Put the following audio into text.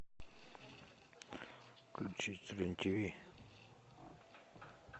включить рен тв